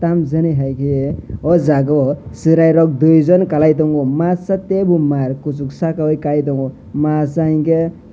tamo jani hai ke aw jaaga o cherai rok dui jon kalai tongo masa tabular maar kusuk saka o kai tongo masa enke.